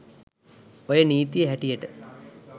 ඔය නීතියෙ හැටියට